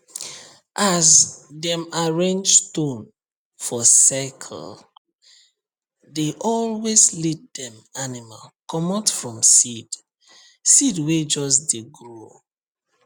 as dem arrange stone for circlee dey always lead dem animal comot from seed seed wey just dey grow